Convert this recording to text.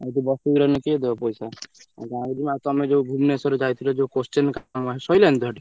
ଆଉ ଏଠି ବସିକି ରହିନେ କିଏ ଦବ ପଇସା ଆଉ ତମେ ଯୋଉ ଭୁବନେଶ୍ବର ଯାଇଥିଲ ଜୟ question କାମରେ ଶଇଲାଣି ତ ସେଠି।